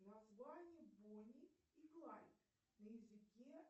название бонни и клайд на языке